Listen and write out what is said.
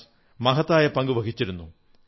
വ്യാസ് മഹത്തായ പങ്കു വഹിച്ചിരുന്നു